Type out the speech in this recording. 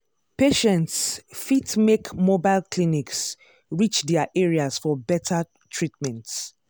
patients fit make mobile clinics reach their areas for better treatment.